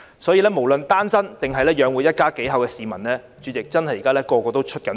主席，無論是單身或須養活一家幾口的市民，現在真的是人人也在"出血"。